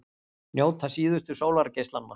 Njóta síðustu sólargeislanna